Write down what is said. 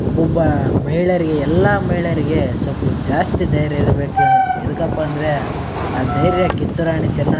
ಒಬೊಬ್ಬಾ ಮಯಿಳೆಯಲ್ಲಿ ಎಲ್ಲ ಮಯಿಳೆಯರಿಗೆ ಸ್ವಲ್ಪ ಜಾಸ್ತಿ ಧೈರ್ಯ ಇರ್ಬೇಕು ಎದಕ್ಕಪ್ಪಂದ್ರೆ ಆ ಧೈರ್ಯ ಕಿತ್ತೂರಾಣಿ ಚೆನ್ನಮ್ಮ--